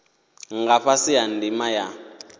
nga fhasi ha ndima ya